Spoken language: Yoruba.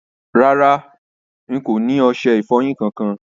Rárá, ì kò ni oṣẹ-ìfọ́yin kan-kan.